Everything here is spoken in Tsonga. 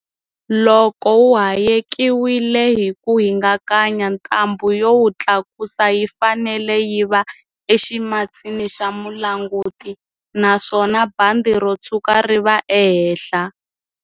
Loko wu hayekiwile hi ku hingakanya, ntambhu yo wu tlakusa yi fanele yi va eximatsini xa mulanguti, naswona bandi ro tshuka ri va ehenhla.